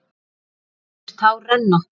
Hjartað grætur, tár renna.